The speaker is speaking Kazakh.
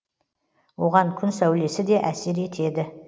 оған күн сәулесі де әсер етеді